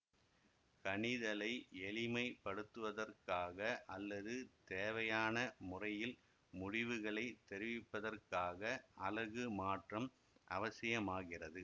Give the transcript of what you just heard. கணிதலை எளிமைப் படுத்துவதற்காக அல்லது தேவையான முறையில் முடிவுகளைத் தெரிவிப்பதற்காக அலகு மாற்றம் அவசிமாகிறது